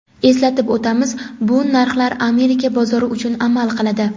Eslatib o‘tamiz bu narxlar Amerika bozori uchun amal qiladi.